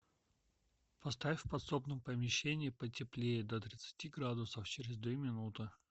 поставь в подсобном помещении потеплее до тридцати градусов через две минуты